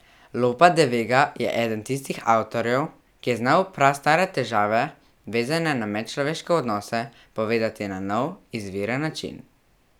Lopa de Vega je eden tistih avtorjev, ki je znal prastare težave, vezane na medčloveške odnose, povedati na nov, izviren način.